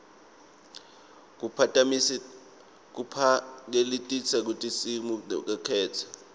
kubaphakelitinsita besikimu labakhetsiwe